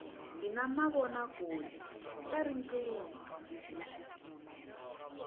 hi na mavona kule ka riqingho